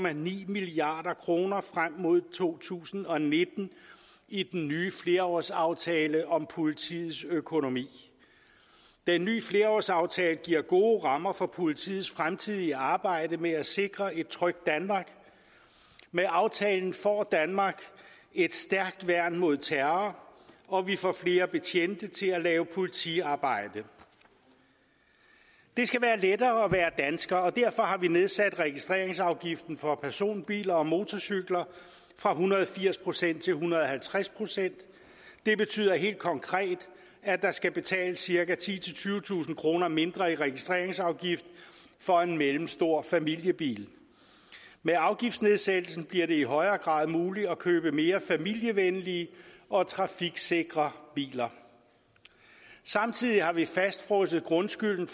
en milliard kroner frem mod to tusind og nitten i den nye flerårsaftale om politiets økonomi den nye flerårsaftale giver gode rammer for politiets fremtidige arbejde med at sikre et trygt danmark med aftalen får danmark et stærkt værn mod terror og vi får flere betjente til at lave politiarbejde det skal være lettere at være dansker og derfor har vi nedsat registreringsafgiften for personbiler og motorcykler fra en hundrede og firs procent til en hundrede og halvtreds procent det betyder helt konkret at der skal betales cirka titusind tyvetusind kroner mindre i registreringsafgift for en mellemstor familiebil med afgiftsnedsættelsen bliver det i højere grad muligt at købe mere familievenlige og trafiksikre biler samtidig har vi fastfrosset grundskylden